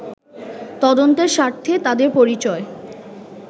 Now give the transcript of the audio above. তদন্তের স্বার্থে তাদের পরিচয়